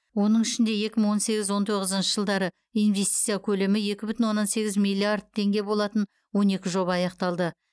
оның ішінде екі мың он сегіз он тоғызыншы жылдары инвестиция көлемі екі бүтін оннан сегіз миллиард теңге болатын он екі жоба аяқталды